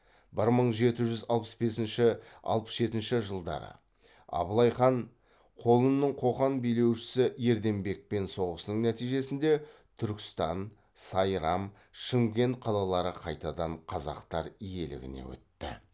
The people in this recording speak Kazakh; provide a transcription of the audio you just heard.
бір мың жеті жүз алпыс бесінші алпыс жетінші жылдары абылайхан қолының қоқан билеушісі ерденбекпен соғысының нәтижесінде түркістан сайрам шымкент қалалары қайтадан қазақтар иелігіне өтті